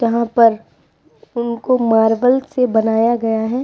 यहाँ पर इनको मार्बल से बनाया गया है।